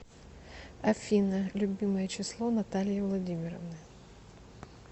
афина любимое число натальи владимировны